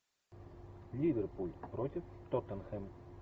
ливерпуль против тоттенхэм